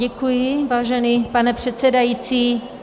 Děkuji, vážený pane předsedající.